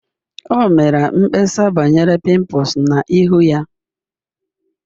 O mere mkpesa banyere pimples na ihu ya